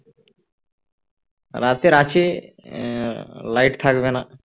রাতের আছে আহ লাইট থাকবে না